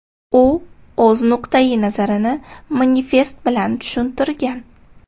U o‘z nuqtayi nazarini manifest bilan tushuntirgan.